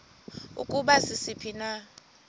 ukuba sisiphi na